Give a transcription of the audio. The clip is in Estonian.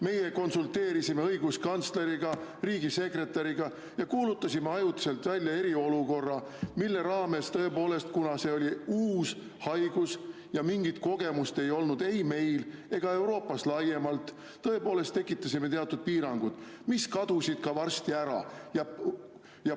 Meie konsulteerisime õiguskantsleriga, riigisekretäriga, me kuulutasime ajutiselt välja eriolukorra, mille raames, kuna see oli uus haigus ja mingit kogemust ei olnud ei meil ega Euroopas laiemalt, tõepoolest tekitasime teatud piirangud, mis kadusid ka varsti ära.